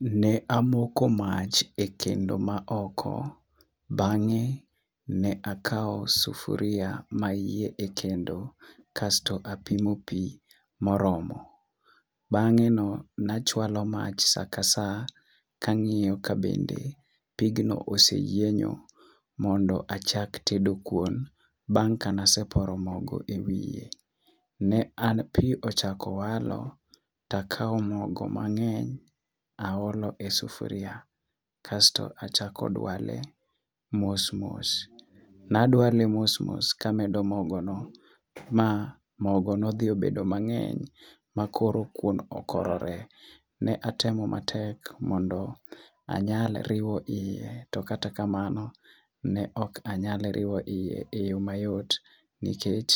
Ne amoko mach ekendo maoko. Bang'e ne akawo sufuria mayie ekendo kasto apimo pi moromo. Bang'e ne achualo mach sa kasa kang'iyo kabende pignio osee yienyo mondo achak tedo kuon bang' kane aseporo mogo ewiye. Ne an pi ochako walo, to akawo mogo mang'eny to aolo e sufuria. Kasto achako dwale mos mos kamedo mogono ma mogo nodhi obedo mang'eny ma koro kuon okorore. Ne atemo matek mondo anyal riwo iye to kata kamano ne ok anyal riwo iye eyo mayot nikech